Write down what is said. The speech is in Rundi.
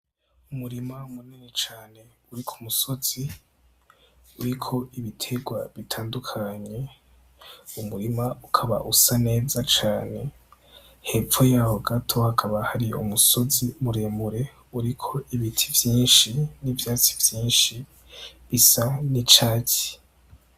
Umurima munini cane uri ku musozi uriko ibiterwa bitandukanye. Uwo murima ukaba usa neza cane, hepfo y'aho gato hakaba hari umusozi muremure uriko ibiti vyinshi n'ivyatsi vyinshi bisa n'icatsi.